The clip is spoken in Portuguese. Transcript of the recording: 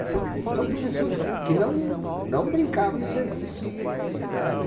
E são são professores que não não brincavam em serviço, sabe?